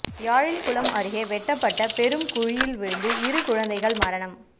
யாழில் குளம் அருகே வெட்டப்பட்ட பெரும் குழியில் வீழந்து இரு குழந்தைகள் மரணம்